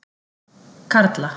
Karla